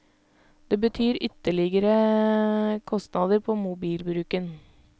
Det betyr ytterligere kostnader på mobilbruken.